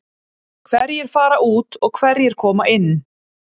Hverjir fara út og hverjir koma inn?